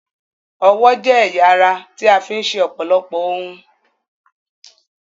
Ọwọ́ jẹ́ ẹ̀ya ara tí a fi ń ṣe ọ̀pọ̀lọpọ̀ ohun.